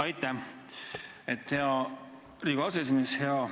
Aitäh, hea Riigikogu aseesimees!